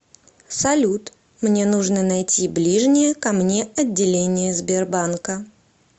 салют мне нужно найти ближнее ко мне отделение сбербанка